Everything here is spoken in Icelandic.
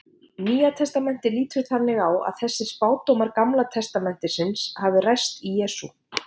Nýja testamentið lítur þannig á að þessir spádómar Gamla testamentisins hafi ræst í Jesú.